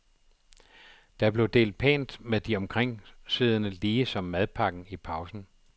Der blev delt pænt med de omkringsiddende lige som madpakken i pausen.